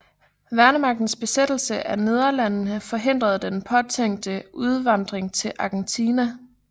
Værnemagtens besættelse af Nederlandene forhindrede den påtænkte udvandring til Argentina